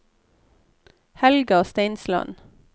Helga Steinsland